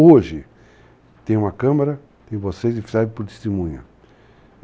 Hoje, tem uma câmara, tem vocês que servem por testemunha.